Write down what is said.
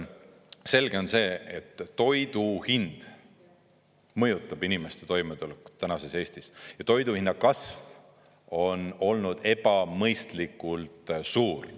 Selge on see, et toidu hind mõjutab inimeste toimetulekut tänases Eestis ja toiduhinna kasv on olnud ebamõistlikult suur.